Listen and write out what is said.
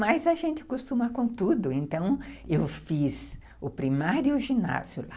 Mas a gente costuma com tudo, então eu fiz o primário e o ginásio.